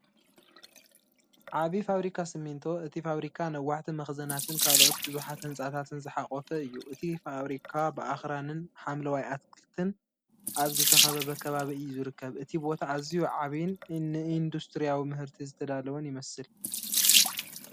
ዓቢ ፋብሪካ ሲሚንቶ እቲ ፋብሪካ ነዋሕቲ መኽዘናትን ካልኦት ብዙሓት ህንጻታትን ዝሓቖፈ እዩ። እቲ ፋብሪካ ብኣኽራንን ሓምለዋይ ኣትክልትን ኣብ ዝተኸበበ ከባቢ እዩ ዝርከብ። እቲ ቦታ ኣዝዩ ዓቢይን ንኢንዱስትርያዊ ምህርቲ ዝተዳለወን ይመስል።